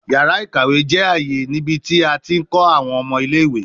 Yara ikawe jẹ aaye nibiti a ti nkọ awọn ọmọ ile-iwe